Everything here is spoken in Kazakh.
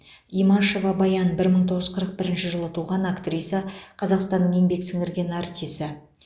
имашева баян бір мың тоғыз жүз қырық бірінші жылы туған актриса қазақстанның еңбек сіңірген артисі